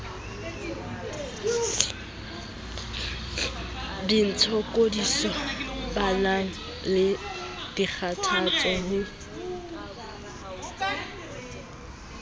ditshokodiso banang le dikgathatso ho